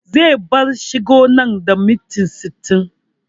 Zai bar shagon nan da minti sittin